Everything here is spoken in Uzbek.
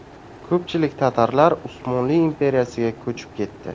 Ko‘pchilik tatarlar Usmonli imperiyasiga ko‘chib ketdi.